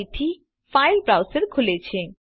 ફરીથી ફાઇલ browserખુલે છે